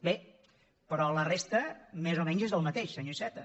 bé però la resta més o menys és el mateix senyor iceta